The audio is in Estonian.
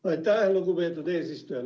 Aitäh, lugupeetud eesistuja!